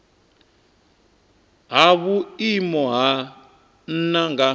ha vhuimo ha nha nga